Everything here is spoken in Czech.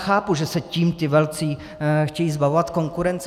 Chápu, že se tím ti velcí chtějí zbavovat konkurence.